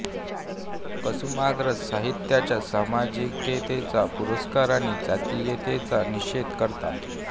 कुसुमाग्रज साहित्याच्या सामाजिकतेचा पुरस्कार आणि जातीयतेचा निषेध करतात